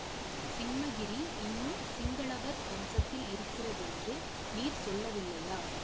சிம்மகிரி இன்னும் சிங்களவர் வசத்தில் இருக்கிறதென்று நீர் சொல்லவில்லையா